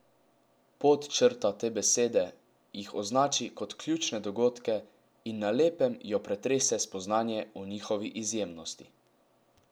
Podčrta te besede, jih označi kot ključne dogodke, in na lepem jo pretrese spoznanje o njihovi izjemnosti.